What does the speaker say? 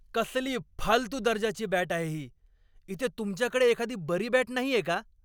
कसली फालतू दर्जाची बॅट आहे ही. इथे तुमच्याकडे एखादी बरी बॅट नाहीये का?